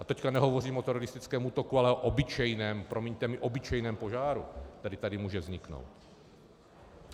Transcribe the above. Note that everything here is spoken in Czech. A teď nehovořím o teroristickém útoku, ale o obyčejném, promiňte mi, obyčejném požáru, který tady může vzniknout.